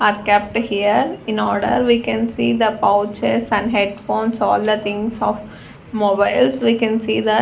are kept here in order we can see the pouches some headphones all the things of mobiles we can see that --